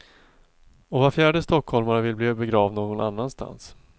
Och var fjärde stockholmare vill bli begravd någon annanstans.